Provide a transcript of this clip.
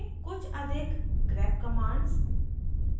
कुछ अधिक grep grep commands